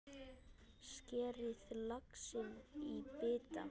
Skerið laxinn í bita.